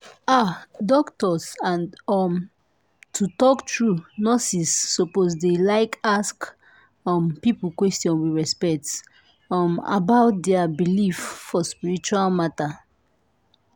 ah! doctors and um to talk true nurses suppose dey like ask um people question with respect um about dia believe for spiritual matter.